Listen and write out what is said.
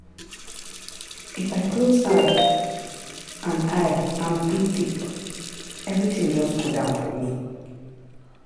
if i close eye and eye and breathe deep everything just cool down for me.